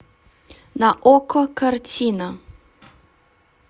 на окко картина